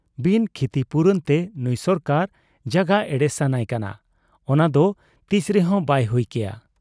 ᱵᱤᱱ ᱠᱷᱤᱛᱤᱯᱩᱨᱚᱱ ᱛᱮ ᱱᱩᱸᱭ ᱥᱚᱨᱠᱟᱨ ᱡᱟᱜᱟ ᱮᱲᱮ ᱥᱟᱱᱟᱭ ᱠᱟᱱᱟ, ᱚᱱᱟᱫᱚ ᱛᱤᱥᱨᱮᱦᱚᱸ ᱵᱟᱭ ᱦᱩᱭ ᱠᱮᱭᱟ ᱾